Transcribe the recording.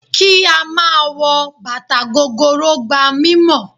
Kí á máa wọ bàtà gogoro gba mímọ̀.